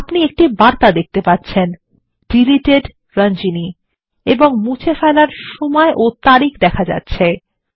আপনি একটি বার্তা দেখতে পাচ্ছেন ডিলিটেড Ranjani এবং মুছে ফেলার সময় ও তারিখ দেখা যাচ্ছে